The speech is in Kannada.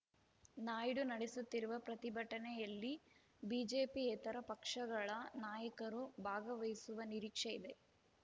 ನಾಯ್ಡು ನಡೆಸುತ್ತಿರುವ ಪ್ರತಿಭಟನೆಯಲ್ಲಿ ಬಿಜೆಪಿಯೇತರ ಪಕ್ಷಗಳ ನಾಯಕರು ಭಾಗವಹಿಸುವ ನಿರೀಕ್ಷೆ ಇದೆ